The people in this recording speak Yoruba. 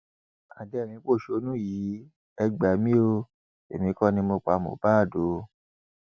adẹrìnínpọṣónú yìí e gbà mí o èmi kò ní mo pa mohbad o